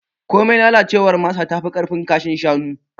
Komai lalacewar masa tafi ƙarfin kashin shanu.